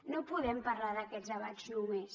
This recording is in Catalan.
no podem parlar d’aquests debats només